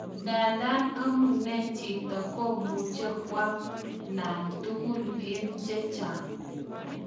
Ndadan amune jito komuche kwam nan. tugul en chechaang